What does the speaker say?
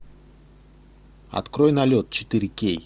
открой налет четыре кей